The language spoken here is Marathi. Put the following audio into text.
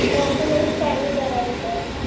डॉक्युमेंट स्कॅनिंग करायचे होते.